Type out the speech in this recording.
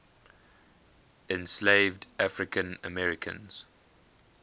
enslaved african americans